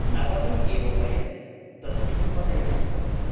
नवमे एव वयसि तस्य उपनयनं प्रवृत्तम् ।